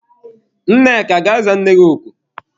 Nneka gaa za nne gị oku!